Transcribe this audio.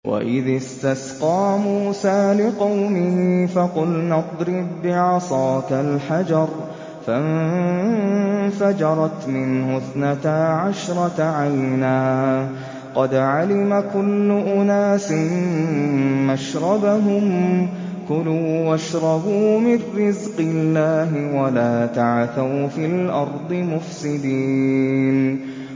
۞ وَإِذِ اسْتَسْقَىٰ مُوسَىٰ لِقَوْمِهِ فَقُلْنَا اضْرِب بِّعَصَاكَ الْحَجَرَ ۖ فَانفَجَرَتْ مِنْهُ اثْنَتَا عَشْرَةَ عَيْنًا ۖ قَدْ عَلِمَ كُلُّ أُنَاسٍ مَّشْرَبَهُمْ ۖ كُلُوا وَاشْرَبُوا مِن رِّزْقِ اللَّهِ وَلَا تَعْثَوْا فِي الْأَرْضِ مُفْسِدِينَ